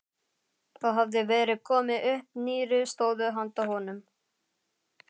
Það hafði verið komið upp nýrri stöðu handa honum.